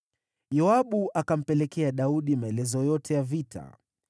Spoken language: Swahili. Yoabu akampelekea Daudi maelezo yote ya vita.